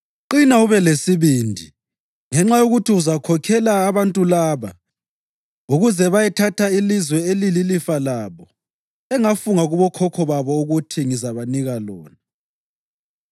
Qina ube lesibindi ngenxa yokuthi uzakhokhela abantu laba ukuze bayethatha ilizwe elilifa labo engafunga kubokhokho babo ukuthi ngizabanika lona.